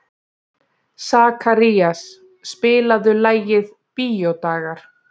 Sakarías, spilaðu lagið „Bíódagar“.